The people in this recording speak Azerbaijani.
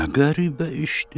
Nə qəribə işdi?